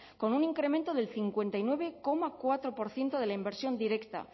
con un incremento del cincuenta y nueve coma cuatro por ciento de la inversión directa